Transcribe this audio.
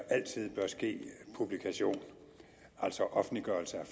altid bør ske publikation altså offentliggørelse af